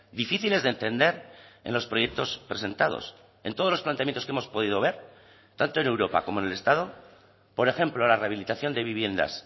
difíciles de entender en los proyectos presentados en todos los planteamientos que hemos podido ver tanto en europa como en el estado por ejemplo la rehabilitación de viviendas